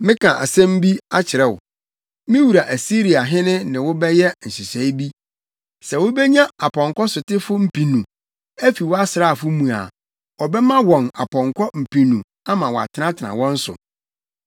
“ ‘Mɛka asɛm bi akyerɛ wo! Me wura Asiriahene ne wo bɛyɛ nhyehyɛe bi. Sɛ wubenya apɔnkɔsotefo mpenu, afi wo asraafo mu a, ɔbɛma wɔn apɔnkɔ mpenu ama wɔatenatena wɔn so.